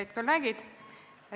Head kolleegid!